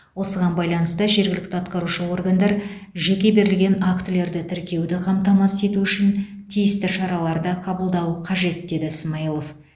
осыған байланысты жергілікті атқарушы органдар жерге берілген актілерді тіркеуді қамтамасыз ету үшін тиісті шараларды қабылдауы қажет деді смайылов